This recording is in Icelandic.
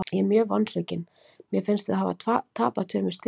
Ég er mjög vonsvikinn, mér finnst við hafa tapað tveimur stigum.